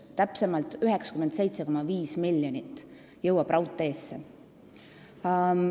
Täpsemalt jõuab raudteesse 97,5 miljonit eurot.